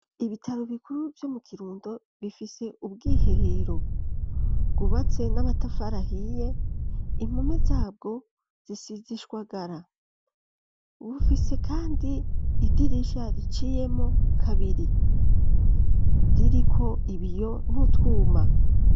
Ibitaro bikuru vyo mu Kirundo bifise ubwiherero bwubatse n'amatafarahiye impome zabwo zisize ishwagara bufise kandi idirisha riciyemwo kabiri ririko ibiyo n'ututwuma.